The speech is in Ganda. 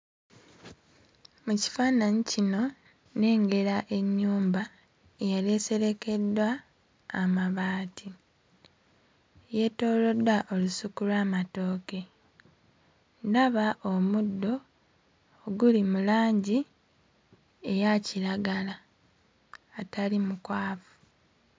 Ekifaananyi kino nnengera ennyumba eyali eserekeddwa amabaati, yeetooloddwa olusuku lw'amatooke ndaba omuddo oguli mu langi eya kiragala atali mukwafu.